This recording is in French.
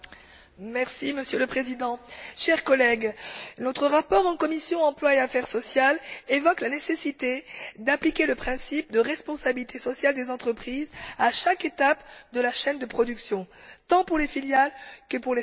Monsieur le Président, chers collègues, notre rapport en commission de l'emploi et des affaires sociales évoque la nécessité d'appliquer le principe de responsabilité sociale des entreprises à chaque étape de la chaîne de production, tant pour les filiales que pour les fournisseurs.